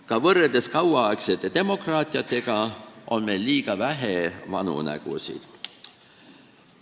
Ka võrreldes kauaaegsete demokraatiatega on meil liiga vähe vanu nägusid.